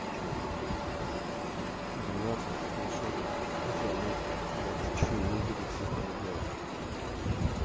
чего уже теперь двенадцать скриншотов замутим может что и выгорит с этого дела